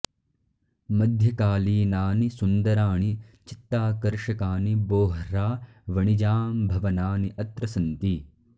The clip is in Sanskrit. मध्यकालीनानि सुन्दराणि चित्ताकर्षकानि बोह्रा वणिजां भवनानि अत्र सन्ति